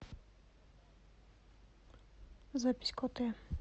запись котэ